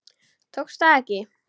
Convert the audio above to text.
Tókst það ekki.